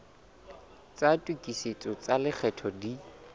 tsa tokisetso tsa lekgetho di